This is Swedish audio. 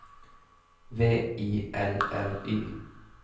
V I L L Y